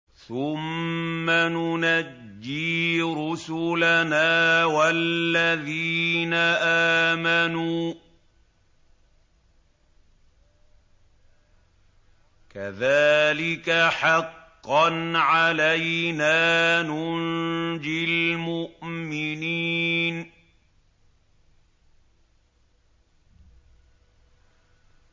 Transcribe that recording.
ثُمَّ نُنَجِّي رُسُلَنَا وَالَّذِينَ آمَنُوا ۚ كَذَٰلِكَ حَقًّا عَلَيْنَا نُنجِ الْمُؤْمِنِينَ